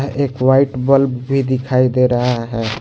एक white bulb भी दिखाई दे रहा है।